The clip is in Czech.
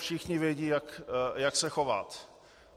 Všichni vědí, jak se chovat.